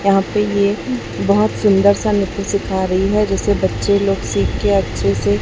यहाँ पे ये बहोत सुंदर सा नृत्य सीखा रही है जिसे बच्चे लोग सिख के अच्छे से--